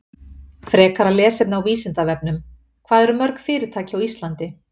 Frekara lesefni á Vísindavefnum: Hvað eru mörg fyrirtæki á Íslandi?